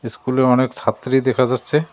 ইস্কুলে অনেক ছাত্রী দেখা যাচ্ছে।